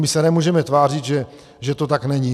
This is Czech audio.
My se nemůžeme tvářit, že to tak není.